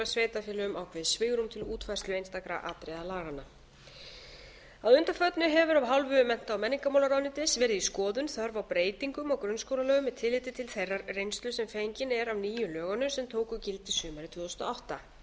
sveitarfélögum ákveðið svigrúm til útfærslu einstakra atriða laganna að undanförnu hefur af hálfu mennta og menningarmálaráðuneytisins verið í skoðun þörf á breytingum á grunnskólalögum með tilliti til þeirrar reynslu sem fengin er af nýju lögunum sem tóku gildi sumarið tvö þúsund og átta